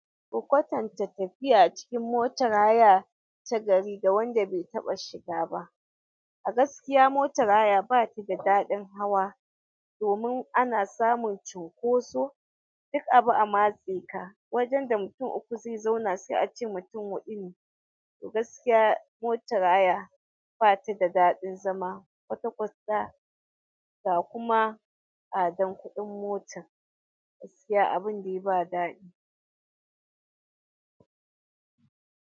Ku kwatanta tafiya a cikin motar haya ta gari ga wanda bai taɓa shiga ba. A gaskiya motar haya batada daɗin hawa domin ana samun cunkoso duk abi a matseka wajen da mutum uku zai zauna sai ace mutum haɗu ne to gaskiya motar haya batada daɗin zama kwata kwata ga kuma tsadan kuɗin motan gaskiya abin da ba daɗi.